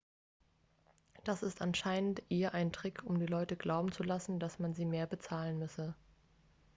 das ist anscheinend eher ein trick um die leute glauben zu machen dass sie mehr bezahlen müssen